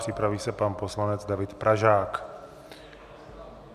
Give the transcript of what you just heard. Připraví se pan poslanec David Pražák.